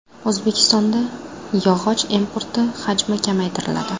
O‘zbekistonda yog‘och importi hajmi kamaytiriladi.